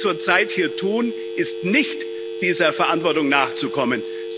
Was Sie zurzeit hier tun, ist nicht, dieser Verantwortung nachzukommen.